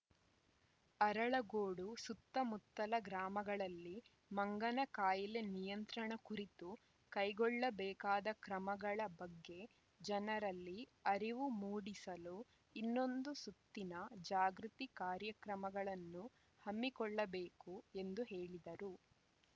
ಅರಳಗೋಡು ಸುತ್ತಮುತ್ತಲ ಗ್ರಾಮಗಳಲ್ಲಿ ಮಂಗನ ಕಾಯಿಲೆ ನಿಯಂತ್ರಣ ಕುರಿತು ಕೈಗೊಳ್ಳಬೇಕಾದ ಕ್ರಮಗಳ ಬಗ್ಗೆ ಜನರಲ್ಲಿ ಅರಿವು ಮೂಡಿಸಲು ಇನ್ನೊಂದು ಸುತ್ತಿನ ಜಾಗೃತಿ ಕಾರ್ಯಕ್ರಮಗಳನ್ನು ಹಮ್ಮಿಕೊಳ್ಳಬೇಕು ಎಂದು ಹೇಳಿದರು